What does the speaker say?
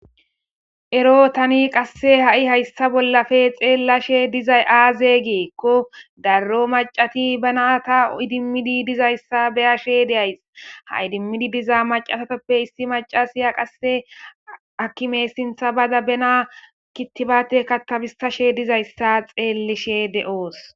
ero tani qasse ha'i hayssa bollafe xeellashe dizay aaze geekko darro macati bana ta idimmidi dizayssa beyashe deyays ha idimmidi dizaa macasatoppe issi maca siya qasse hakkime sintha bada bena kittibate katabisashe dizayssa xeellishe de'os